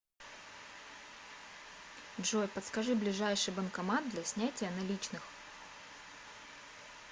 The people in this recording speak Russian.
джой подскажи ближайший банкомат для снятия наличных